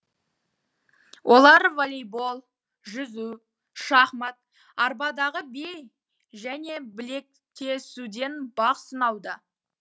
олар волейбол жүзу шахмат арбадағы би және білектесуден бақ сынауда